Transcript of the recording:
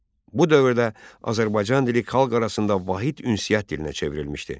Bu dövrdə Azərbaycan dili xalq arasında vahid ünsiyyət dilinə çevrilmişdi.